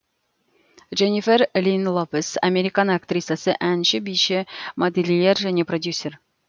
дже ннифер линн ло пес американ актрисасы әнші биші модельер және продюсер